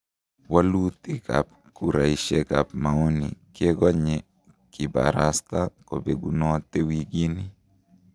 Wolutik ab kuraisiek ab maoni kegonye kibarasta kobegunotee wigini.